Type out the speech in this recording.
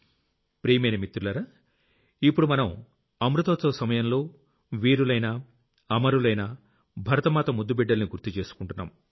ప్రియమైన మిత్రులారా ఇప్పుడు మనం అమృతోత్సవ సమయంలో వీరులైన అమరులైన భరతమాత ముద్దు బిడ్డల్ని గుర్తు చేసుకుంటున్నాం